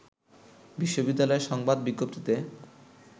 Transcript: বিশ্ববিদ্যালয়ের সংবাদ বিজ্ঞপ্তিতে